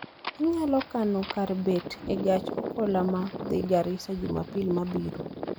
Inyalo kano kar bet e gach okoloma dhi Garisa jumapil mabiro